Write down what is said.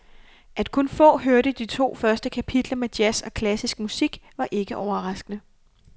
At kun få hørte de to første kapitler med jazz og klassisk musik, var ikke overraskende.